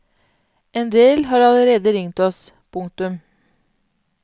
En del har allerede ringt oss. punktum